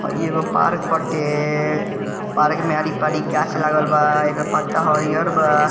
हई एगो पार्क हटे पार्क मे आरी-पारी गाछ लागल बा एकर पत्ता हरियर बा ।